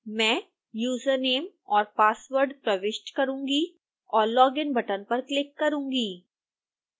मैं username और password प्रविष्ट करूँगी और login बटन पर क्लिक करूँगी